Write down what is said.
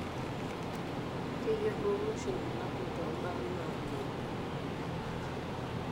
Keyiolouni oshi bulabul tombaa nalio.